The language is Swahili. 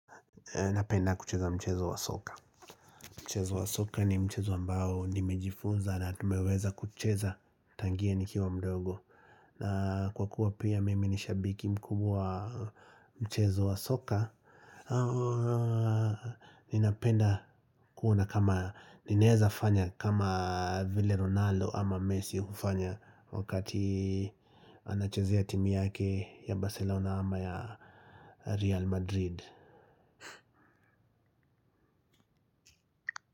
Napenda kucheza mchezo wa soka. Mchezo wa soka ni mchezo ambao nimejifunza na tumeweza kucheza tangie nikiwa mdogo. Na kwa kuwa pia mimi ni shabiki mkubwa mchezo wa soka. Ninapenda kuona kama ninaeza fanya kama Ville Ronaldo ama Messi hufanya wakati anachezea timu yake ya Barcelona ama ya Real Madrid.